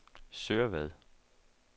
Sørvad